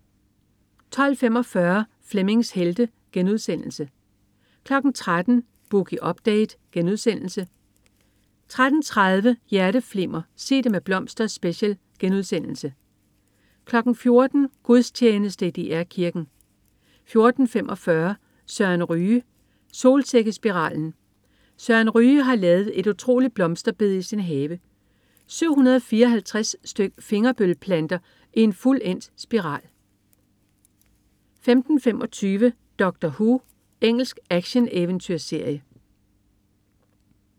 12.45 Flemmings Helte* 13.00 Boogie Update* 13.30 Hjerteflimmer: Sig Det Med Blomster Special* 14.00 Gudstjeneste i DR Kirken 14.45 Søren Ryge. Solsikkespiralen. Søren Ryge har lavet et utroligt blomsterbed i sin have. 754 styk fingerbøl-planter i en fuldendt solsikkespiral 15.25 Doctor Who. Engelsk actioneventyrserie